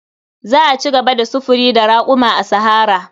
Za a ci gaba da sufuri da raƙuma a sahara.